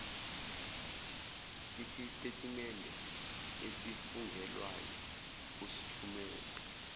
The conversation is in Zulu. isitetimende esifungelwayo usithumele